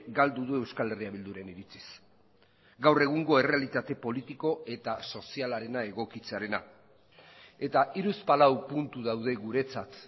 galdu du euskal herria bilduren iritziz gaur egungo errealitate politiko eta sozialarena egokitzearena eta hiruzpalau puntu daude guretzat